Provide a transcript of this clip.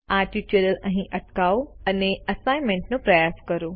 આ ટ્યુટોરીયલ અહી અટકાવો અને એસાઇન્મેન્ટનો પ્રયાસ કરો